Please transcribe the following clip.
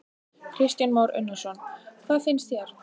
Kristján Már Unnarsson: Hvað finnst þér?